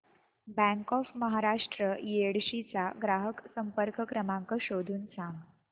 bank of Maharashtra Yedshi चा ग्राहक संपर्क क्रमांक शोधून सांग